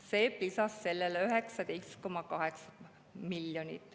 SEB lisas sellele 19,8 miljonit.